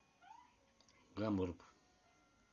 гамбург